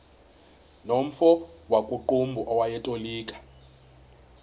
nomfo wakuqumbu owayetolika